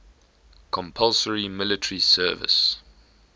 compulsory military service